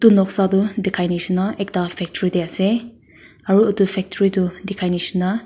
etu noksa tu dekhai nisna ekta factory te ase aru factory tu dekhai nisna--